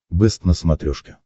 бэст на смотрешке